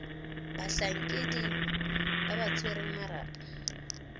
batlhankedi ba ba tshwereng marapo